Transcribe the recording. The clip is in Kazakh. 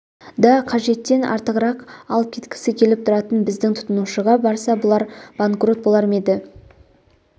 да қажеттіден артығырақ алып кеткісі келіп тұратын біздің тұтынушыға барса бұлар банкрот болар ма еді